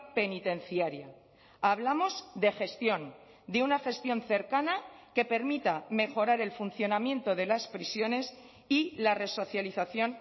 penitenciaria hablamos de gestión de una gestión cercana que permita mejorar el funcionamiento de las prisiones y la resocialización